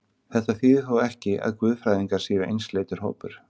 Þetta þýðir þó ekki, að guðfræðingar séu einsleitur hópur.